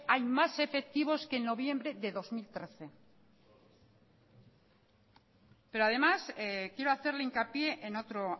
hay más efectivos que en noviembre de dos mil trece pero además quiero hacerle hincapié en otro